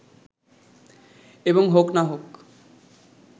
এবং হক না-হক